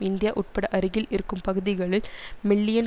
India உட்பட அருகில் இருக்கும் பகுதிகளில் மில்லியன்